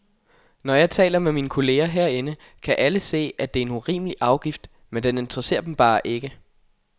Når jeg taler med mine kolleger herinde, kan alle se, at det er en urimelig afgift, men den interesserer dem bare ikke.